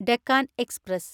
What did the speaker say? Deccan express